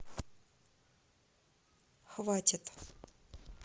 хватит